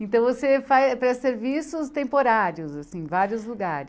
Então você faz presta serviços temporários, assim, em vários lugares.